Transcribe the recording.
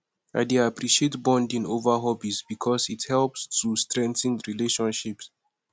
i dey appreciate bonding over hobbies because it helps to strengthen relationships